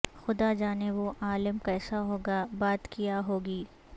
خدا جانے وہ عالم کیسا ہوگا بات کیا ہوگی